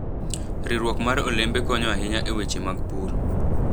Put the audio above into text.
Riwruok mar olembe konyo ahinya e weche mag pur.